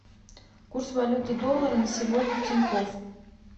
курс валюты доллара на сегодня в тинькофф